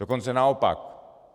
Dokonce naopak.